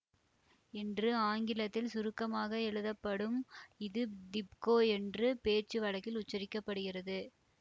என்று ஆங்கிலத்தில் சுருக்கமாக எழுதப்படும் இது திப்கோ என்று பேச்சு வழக்கில் உச்சரிக்க படுகிறது